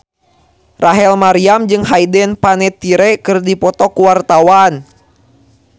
Rachel Maryam jeung Hayden Panettiere keur dipoto ku wartawan